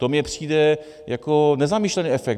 To mně přijde jako nezamýšlený efekt.